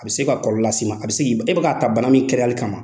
A bɛ se ka kɔlɔlɔ lase i ma, a bɛ se k'i e bɛ k'a ta bana min kɛnɛyali kama